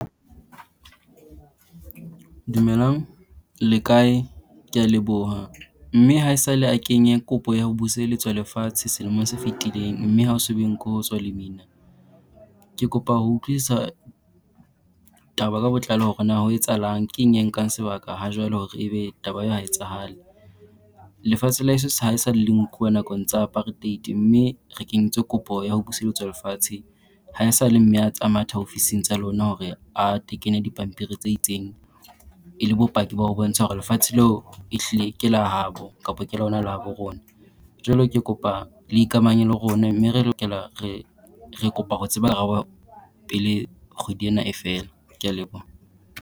Dumelang! Le kae? Kea leboha. Mme haesale a kenya kopo ya ho buseletswa lefatshe selemong se fitileng mme ha ho so be nko ho tswa lemina. Ke kopa ho utlwisisa taba ka botlalo hore na ho etsahalang, keng e nkang sebaka ha jwale hore ebe taba eo ha etsahale. Lefatshe la eso sa haesale le nkuwa nakong tsa apartheid mme re kentse kopo ya ho buseletswa lefatshe. Haesale mme a tsa matha ofising tsa lona hore a tekene dipampiri tse itseng, e le bopaki ba ho bontsha hore lefatshe leo ehlile ke la habo kapo ke lona la habo rona. Jwale ke kopa le ikamahanye le rona mme re lokela re re kopa ho tseba pele kgwedi ena e fela. Kea leboha.